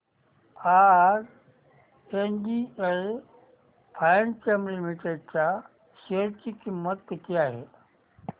आज एनजीएल फाइनकेम लिमिटेड च्या शेअर ची किंमत किती आहे